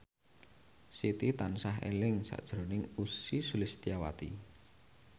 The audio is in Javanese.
Siti tansah eling sakjroning Ussy Sulistyawati